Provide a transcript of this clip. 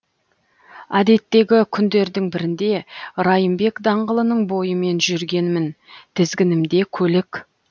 әдеттегі күндердің бірінде райымбек даңғылының бойымен жүргенмін тізгінімде көлік